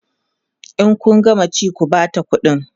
in Kun gama ci ku Bata ƙuɗi